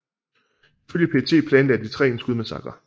Ifølge PET planlagde de tre en skudmassakre